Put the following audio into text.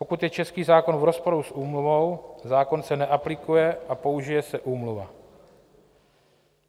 Pokud je český zákon v rozporu s Úmluvou, zákon se neaplikuje a použije se Úmluva.